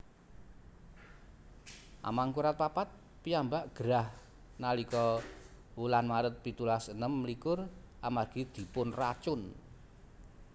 Amangkurat papat piyambak gerah nalika wuan Maret pitulas enem likur amargi dipunracun